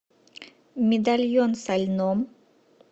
медальон со льном